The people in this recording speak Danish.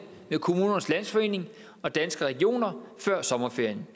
med kommunernes landsforening og danske regioner før sommerferien